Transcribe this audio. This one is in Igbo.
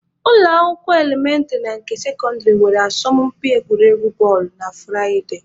Ụlọ akwụkwọ elementịrị na nke sekọndịrị nwere asọmụmpi egwuregwu bọọlụ na Furaịde.